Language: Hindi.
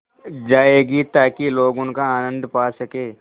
जाएगी ताकि लोग उनका आनन्द पा सकें